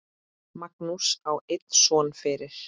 Magnús á einn son fyrir.